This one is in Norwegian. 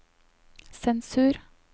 sensur